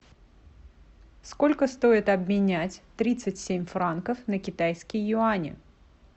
сколько стоит обменять тридцать семь франков на китайские юани